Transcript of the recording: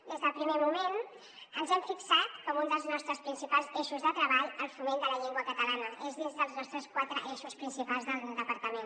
des del primer moment ens hem fixat com un dels nostres principals eixos de treball el foment de la llengua catalana és dins dels nostres quatre eixos principals del departament